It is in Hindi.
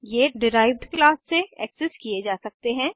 ये डिराइव्ड क्लास से एक्सेस किये जा सकते हैं